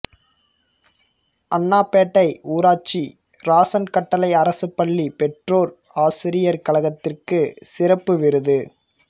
அண்ணாபேட்டை ஊராட்சி இராசான் கட்டளை அரசு பள்ளி பெற்றோர் ஆசிரியர் கழகத்திற்கு சிறப்பு விருது